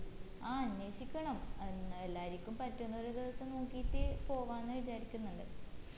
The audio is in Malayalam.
ആ അന്വേഷിക്കണം ഏർ എല്ലാരിക്കും പറ്റുന്ന ഒരു ദിവസം നോക്കിയിട്ട് പോവാന് വിചാരിക്കിന്നിണ്ട്